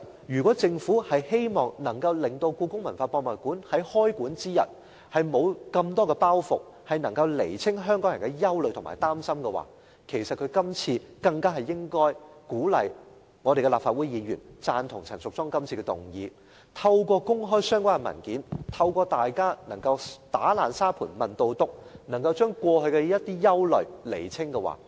如果政府希望故宮館在開館之日沒有太多包袱，能夠釐清香港人的憂慮及擔心，政府更應該鼓勵立法會議員贊同陳淑莊議員今次的議案，透過公開相關的文件，讓大家能夠"打爛砂盆問到篤"，釐清過去的一些憂慮。